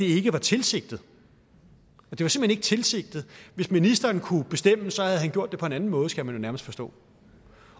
ikke var tilsigtet tilsigtet hvis ministeren kunne bestemme havde han gjort det på en anden måde skal man jo nærmest forstå